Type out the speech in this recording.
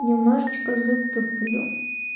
немножечко затуплю